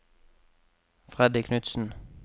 Freddy Knudsen